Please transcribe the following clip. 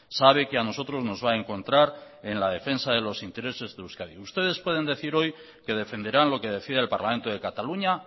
sabe que a nosotros nos va a encontrar en la defensa de los intereses de euskadi ustedes pueden decir hoy que defenderán lo que decida el parlamento de cataluña